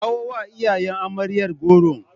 Kawo wa iyayen amaryar goron.